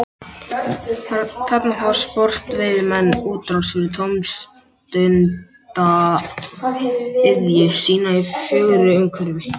Þarna fá sportveiðimenn útrás fyrir tómstundaiðju sína í fögru umhverfi.